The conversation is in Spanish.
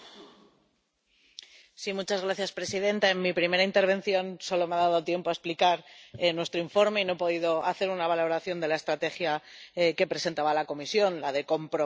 Señora presidenta, en mi primera intervención solo me ha dado tiempo a explicar nuestro informe y no he podido hacer una valoración de la estrategia que presentaba la Comisión la de comprometer, conectar y empoderar.